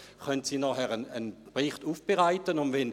Das Radio musste sein Personal nicht herschicken.